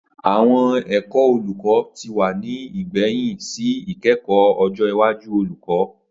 Awọn Ẹkọ Oluko ti wa ni igbẹhin si ikẹkọ ojo iwaju olukọ